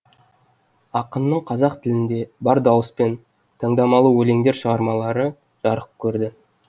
ақынның қазақ тілінде бар дауыспен таңдамалы өлеңдер шығармалары жарық көрді